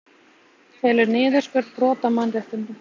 Telur niðurskurð brot á mannréttindum